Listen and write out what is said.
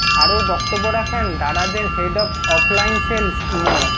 আরও বক্তব্য রাখেন দারাজের head of offline sales Md